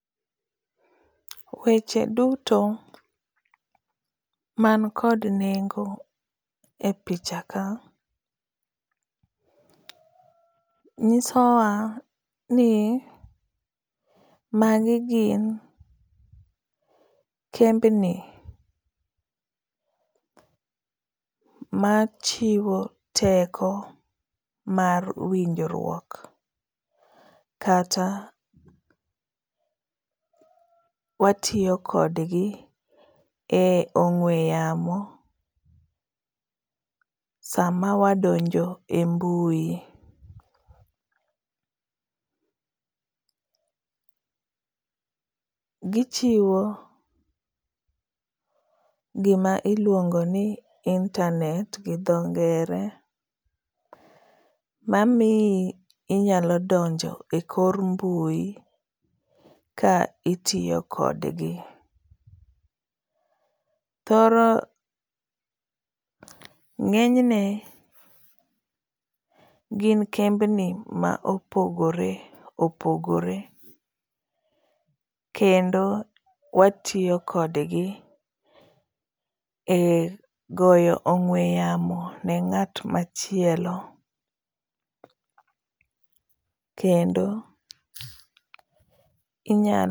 Weche duto man kod nengo e picha ka nyisowa ni magi gin kembni machiwo teko mar winjruok kata watiyo kodgi e ong'ue yamo sama wadonjo e mbui. Gichiwo gima iluongo ni internate gi dho ngere mamiyi inyalo dongo ekor mbui ka itiyo kodgi. Thoro ng'eny ne gin kembni ma opogore opogore kendo watiyo kodgi e goyo ong'ue yamo ni ng'at machielo kendo inyalo